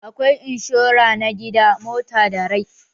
Akwai inshora na gida, mota da rai.